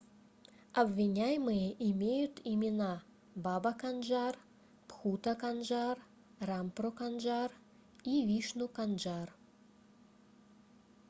обвиняемые имеют имена баба канджар бхута канджар рампро канджар и вишну канджар